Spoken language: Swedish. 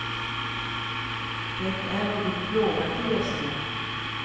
Det är något plågat i rösten.